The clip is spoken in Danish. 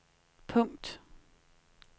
punkt